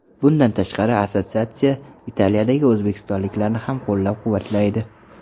Bundan tashqari, assotsiatsiya Italiyadagi o‘zbekistonliklarni ham qo‘llab-quvvatlaydi.